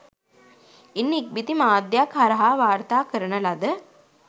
ඉන් ඉක්බිති මාධ්‍යයක් හරහා වාර්තා කරන ලද